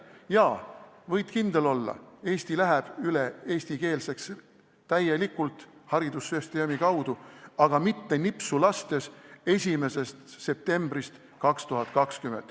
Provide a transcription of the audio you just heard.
Jaa, võid kindel olla, Eesti läheb täielikult eestikeelseks üle haridussüsteemi kaudu, aga mitte nipsu lastes 1. septembril 2020.